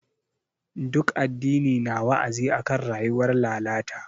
Ɗuk addini na wa'azi akan rayuwar lalata.